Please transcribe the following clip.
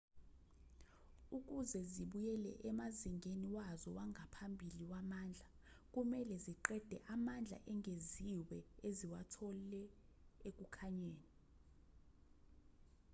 ukuze zibuyele emazingeni wazo wangaphambili wamandla kumelwe ziqede amandla engeziwe eziwathole ekukhanyeni